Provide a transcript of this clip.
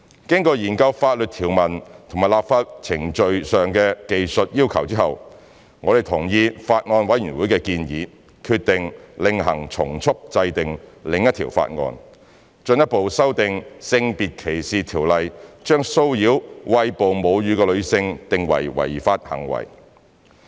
經研究法律條文及立法程序上的技術要求後，我們同意法案委員會的建議，決定另行從速制定另一項法案，進一步修訂《性別歧視條例》，將騷擾餵哺母乳的女性定為違法行為。